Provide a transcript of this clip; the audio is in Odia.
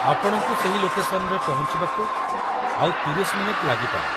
ଆପଣଙ୍କୁ ସେହି ଲୋକେସନ୍‌ରେ ପହଞ୍ଚିବାକୁ ଆଉ ୩୦ ମିନିଟ୍‌ ଲାଗିପାରେ ।